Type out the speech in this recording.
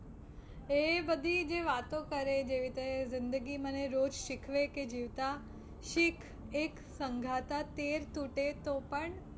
એ બધી જે વાતો કરે જે રીતે જિંદગી મને રોજ શીખવે કે જીવતા શીખ એક સંઘાતા તેર તૂટે તો પણ